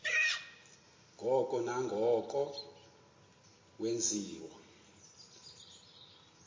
ngoko nangoko wenziwa